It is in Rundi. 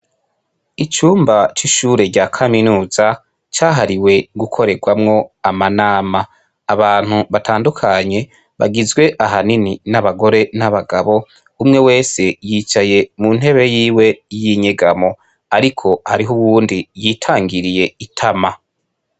Icumba c'ishure rya Kaminuza cahariwe gukorerwamwo amanama abantu batandukanye bugizwe n'abagore n'abagabo umwe wese yicaye muntebe yiwe yinyegamo ariko hari n'uyundi yitangiriye itama.